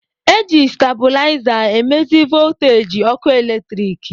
Eji stabụlaiza e mezi vooteeji ọkụ eletrik.